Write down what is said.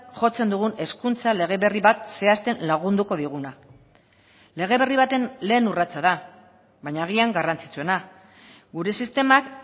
jotzen dugun hezkuntza lege berri bat zehazten lagunduko diguna lege berri baten lehen urratsa da baina agian garrantzitsuena gure sistemak